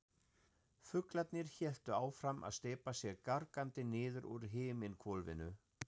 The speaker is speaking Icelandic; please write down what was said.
Fuglarnir héldu áfram að steypa sér gargandi niður úr himinhvolfinu.